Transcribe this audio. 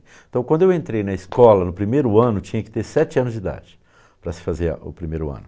Então, quando eu entrei na escola, no primeiro ano, tinha que ter sete anos de idade para se fazer o primeiro ano.